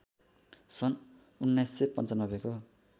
सन् १९९५ को